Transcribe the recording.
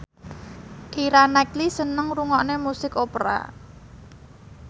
Keira Knightley seneng ngrungokne musik opera